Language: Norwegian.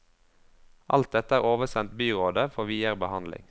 Alt dette er oversendt byrådet for videre behandling.